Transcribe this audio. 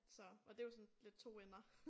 Så og det jo sådan lidt 2 ender